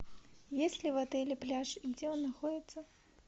есть ли в отеле пляж и где он находится